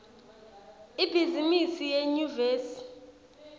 ibhizimisi yenyuvesi